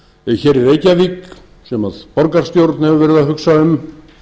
skákakademíu hér í reykjavík sem borgarstjórn hefur verið að hugsa um